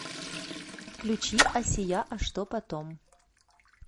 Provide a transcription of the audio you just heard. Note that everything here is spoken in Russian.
включи асия а что потом